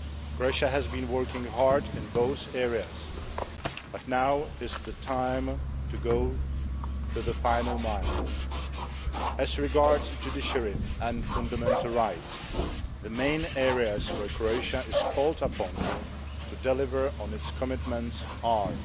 Croatia has been working hard in both areas, but now is the time to go the final mile. As regards the judiciary and fundamental rights, the main areas where Croatia is called upon to deliver on its commitments are